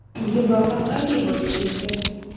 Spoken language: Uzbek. Yevropa qanday boyib ketdi?.